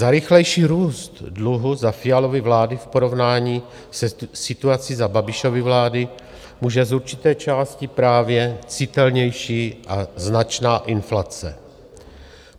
Za rychlejší růst dluhu za Fialovy vlády v porovnání se situací za Babišovy vlády může z určité části právě citelnější a značná inflace.